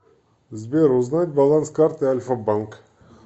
сбер узнать баланс карты альфа банк